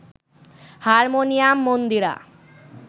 harmonium, Mandira